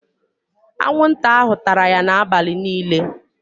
Anwụnta ahụ tara ya n'abalị niile.